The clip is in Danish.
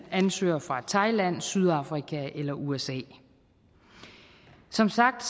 ansøger fra thailand sydafrika eller usa som sagt